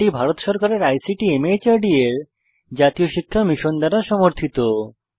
এটি ভারত সরকারের ICT MHRD এর জাতীয় শিক্ষা মিশন দ্বারা সমর্থিত